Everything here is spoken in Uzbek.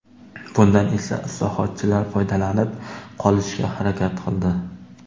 Bundan esa islohotchilar foydalanib qolishga harakat qildi.